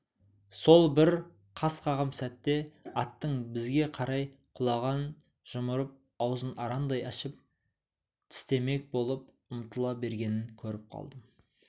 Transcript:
сол бір қас қағым сәтте аттың бізге қарай құлағың жымырып аузын арандай ашып тістемек болып ұмтыла бергенін көріп қалдым